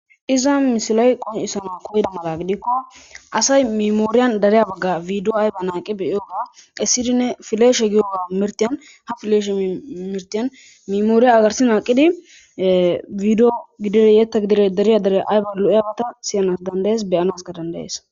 Iza misiley qoncisanaw koyiyaga mala gidikon asay memoryn videowa ayba naq beyanaw danda'iyoga esidinne fleshe giyogan ha fileshe giyo mirtiyan memory garse naqid video gidon yethaka gidn ayba darya dariyagata siyanaw danda'es, beyanaska danda,,'es.